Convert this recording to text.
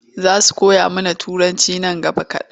Za su koya mana Turanci nan gaba kaɗan.